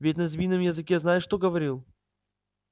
ведь на змеином языке знаешь кто говорил